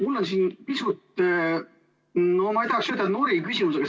Mul on siin pisut, ma ei tahaks ütelda, et noriv küsimus, aga.